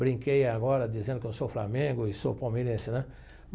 Brinquei agora dizendo que eu sou flamengo e sou palmeirense, né?